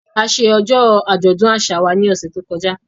A ṣe ọjọ́ àjọ̀dún àṣà wa ní ọ̀sẹ̀ tó kọjá